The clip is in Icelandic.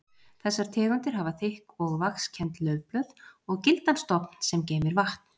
Þessar tegundir hafa þykk og vaxkennd laufblöð og gildan stofn sem geymir vatn.